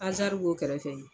Azari b'o kɛrɛfɛ ye